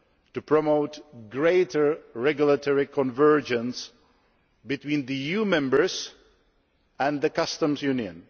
ways to promote greater regulatory convergence between EU Member States and the Customs Union.